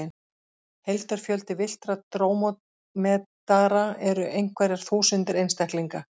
Heildarfjöldi villtra drómedara eru einhverjar þúsundir einstaklinga.